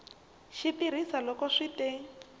xi tirhisa loko swi te